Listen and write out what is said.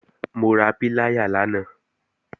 Mo ra píláyà lánàá